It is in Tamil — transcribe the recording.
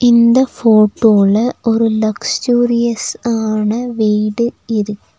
இந்த ஃபோட்டோல ஒரு லக்ஷ்ஜுரியஸ் ஆன வீடு இரு.